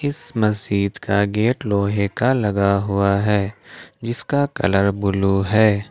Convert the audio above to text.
इस मस्जिद का गेट लोहे का लगा हुआ है जीसका कलर ब्ल्यू है।